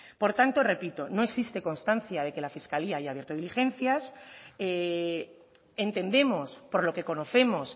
por tanto repito no existe constancia de que la fiscalía haya abierto diligencias entendemos por lo que conocemos